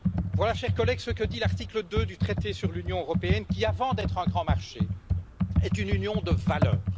Voilà, chers collègues, ce que dit l'article 2 du traité sur l'Union européenne, qui, avant d'être un grand marché, est une union de valeurs.